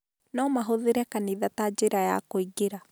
No mahũthĩre kanitha ta njĩra ya kũingĩra.